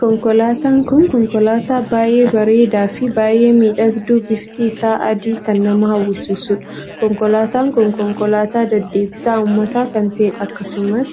Konkolaataan kun konkolaataa baay'ee bareedaa fi baay'ee miidhagduu bifti isaa adii kan nama hawwisiisuudha. konkolaataan kun konkolaataa deddeebisa uummata kan taheedha. akkasumas